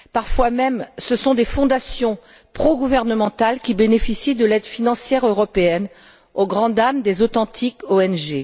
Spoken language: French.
Parfois même, ce sont des fondations pro gouvernementales qui bénéficient de l'aide financière européenne, au grand dam des authentiques ONG.